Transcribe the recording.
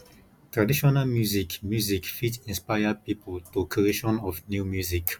traditional music music fit inspire pipo to creation of new music